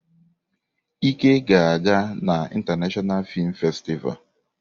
Ike ga-aga na International Film Festival.